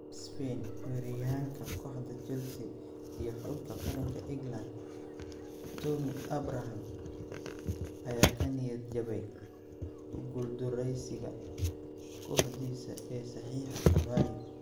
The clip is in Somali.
(ESPN)Weeraryahanka kooxda Chelsea iyo xulka qaranka England Tammy Abraham ayaa ka niyad jabay ku guuldaraysiga kooxdiisa ee saxiixa Cavani.